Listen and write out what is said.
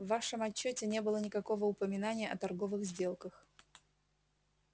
в вашем отчёте не было никакого упоминания о торговых сделках